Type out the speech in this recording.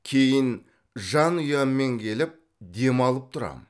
кейін жанұяммен келіп демалып тұрам